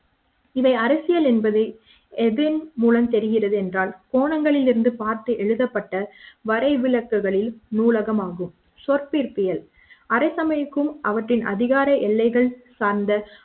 இவை அரசியல் என்பது எதன்மூலம் தெரிகிறது என்றால் கோணங்களில் இருந்து பார்த்து எழுதப்பட்ட வரை விளக்குகளில் நூலகமாகும் சொற்பிறப்பியல் அரசவைக்கும் அவற்றின் அதிகார எல்லைகள் சார்ந்த